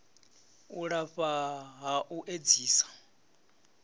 u lafha ha u edzisa